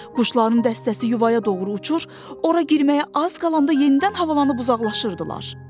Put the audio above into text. Quşların dəstəsi yuvaya doğru uçur, ora girməyə az qalanda yenidən havalanıb uzaqlaşırdılar.